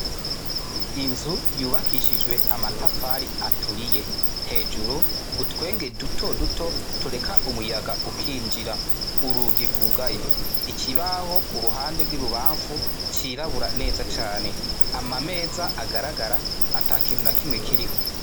Inzu yubakishijwe amatafari aturiye hejuru utwenge duto duto tureka umuyaga ukinjira urugigugaye ikibaho ku ruhande rw'ibubamfu cirabura neza cane ama meza agaragara ata kintu na kimwe kiriho.